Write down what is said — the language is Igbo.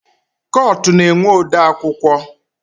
Kọtụ na-enwe odeakwụkwọ